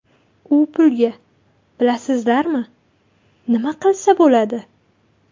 U pulga bilasizlarmi, nima qilsa bo‘ladi?